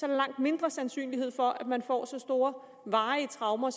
der langt mindre sandsynlighed for at man får så store varige traumer